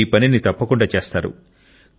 మీరు ఈ పనిని తప్పకుండా చేస్తారు